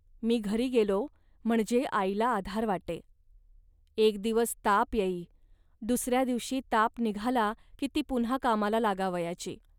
मी घरी गेलो, म्हणजे आईला आधार वाटे. एक दिवस ताप येई, दुसऱ्या दिवशी ताप निघाला की ती पुन्हा कामाला लागावयाची